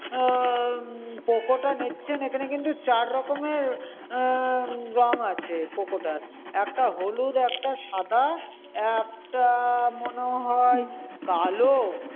আহ POCO টা নিচ্ছেন এখানে কিন্তু চার রকমের আহ রং আছে POCO টার। একটা হলুদ, একটা সাদা, একটা মনে হয় কালো।